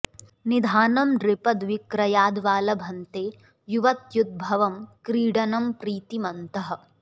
निधानं नृपद् विक्रयाद् वा लभन्ते युवत्युद्भवं क्रीडनं प्रीतिमन्तः